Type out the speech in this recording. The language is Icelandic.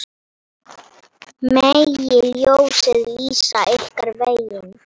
Megi ljósið lýsa ykkur veginn.